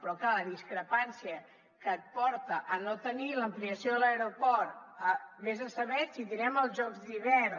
però clar la discrepància que et porta a no tenir l’ampliació de l’aeroport a ves a saber si tindrem els jocs d’hivern